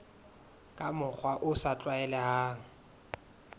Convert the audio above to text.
ka mokgwa o sa tlwaelehang